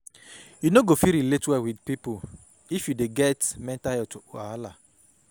You no go fit relate well wit pipo if you dey get mental healt wahala.